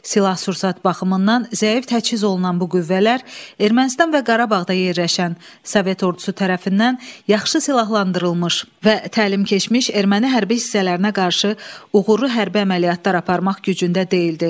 Silah-sursat baxımından zəif təchiz olunan bu qüvvələr Ermənistan və Qarabağda yerləşən Sovet Ordusu tərəfindən yaxşı silahlandırılmış və təlim keçmiş erməni hərbi hissələrinə qarşı uğurlu hərbi əməliyyatlar aparmaq gücündə deyildi.